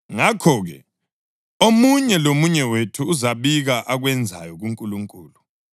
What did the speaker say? Ngakho-ke, omunye lomunye wethu uzabika akwenzayo kuNkulunkulu.